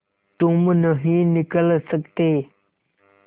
तुम नहीं निकल सकते